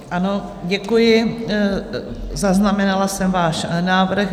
Ano, děkuji, zaznamenala jsem váš návrh.